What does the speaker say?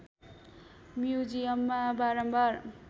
म्युजियममा बारम्बार